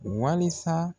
Walisa